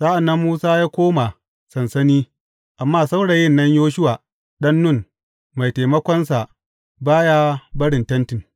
Sa’an nan Musa yă koma sansani, amma saurayin nan Yoshuwa ɗan Nun mai taimakonsa ba ya barin tentin.